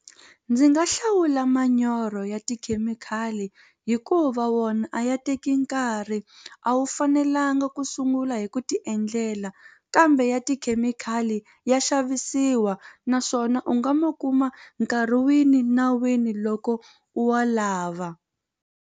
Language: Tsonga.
Ndzi nga hlawula manyoro ya tikhemikhali hikuva wona a ya teki nkarhi a wu fanelanga ku sungula hi ku ti endlela kambe ya tikhemikhali ya xavisiwa naswona u nga ma kuma nkarhi wini na wini loko u wa lava.